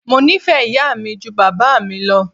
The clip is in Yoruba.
Mo nífẹ̀ẹ́ ìyá mi ju bàbá mi lọ.